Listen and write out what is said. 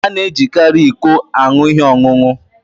A na-ejikarị iko aṅụ ihe ọṅụṅụ.